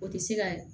O tɛ se ka